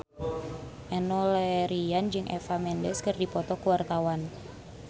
Enno Lerian jeung Eva Mendes keur dipoto ku wartawan